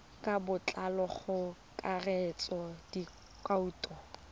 ka botlalo go akaretsa dikhoutu